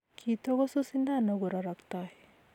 Kitokosu sindano kororoktoi